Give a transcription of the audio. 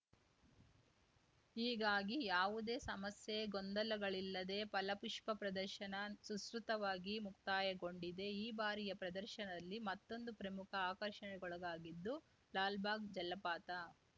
ಹೀಗಾಗಿ ಯಾವುದೇ ಸಮಸ್ಯೆ ಗೊಂದಲಗಳಿಲ್ಲದೆ ಫಲಪುಷ್ಪ ಪ್ರದರ್ಶನ ಸುಸೂತ್ರವಾಗಿ ಮುಕ್ತಾಯಗೊಂಡಿದೆ ಈ ಬಾರಿಯ ಪ್ರದರ್ಶನದಲ್ಲಿ ಮತ್ತೊಂದು ಪ್ರಮುಖ ಆಕರ್ಷಣೆಗೊಳಗಾಗಿದ್ದು ಲಾಲ್‌ಬಾಗ್‌ ಜಲಪಾತ